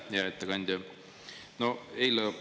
Hea ettekandja!